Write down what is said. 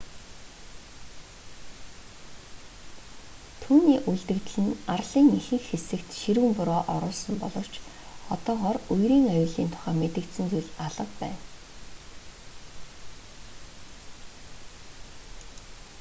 түүний үлдэгдэл нь арлын ихэнх хэсэгт ширүүн бороо оруулсан боловч одоогоор үерийн аюулын тухай мэдэгдсэн зүйл алга байна